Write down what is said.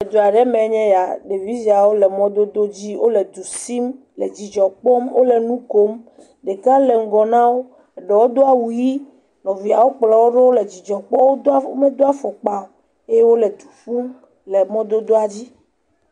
eduaɖe me'nye ya ɖevi siawo le mɔdodó dzi wóle du sim le dzudzɔ kpɔm wóle nukom ɖeka le ŋgɔ nawo eɖewo do awu yi nɔviawo kplɔwo ɖo wóle dzidzɔ kpɔm módo afɔkpa o eye wóle du ƒum le mɔdodoa dzi